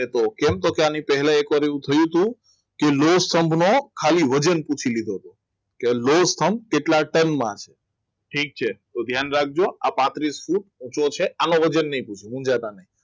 કેમ છો અને પહેલા એક વાર એવું થયું હતું કે સ્તંભ ખાલી વજન પૂછી દીધો હતો એ નો સ્તંભ કેટલા ટનમાં છે ઠીક છે તો ધ્યાન રાખજો આ પાત્રિસ ફૂટ ઊંચો છે આનું વજનની પૂછો હું જાણતા નહીં મોજાતા નહીં મૂંઝાતા નહીં